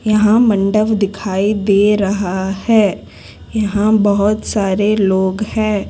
यहां मंडप दिखाई दे रहा है यहां बहुत सारे लोग है।